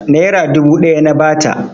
Nera dubu ɗaya na ba ta.